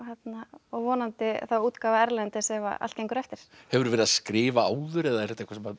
og vonandi þá útgáfa erlendis ef allt gengur eftir hefurðu verið að skrifa áður eða er þetta